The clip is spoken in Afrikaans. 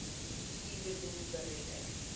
u boedel beredder